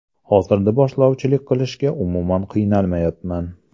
Hozirda boshlovchilik qilishga umuman qiynalmayapman.